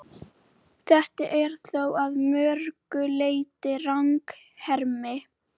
Fyrri hálfleikur fjaraði síðan út og staðan hélst óbreytt.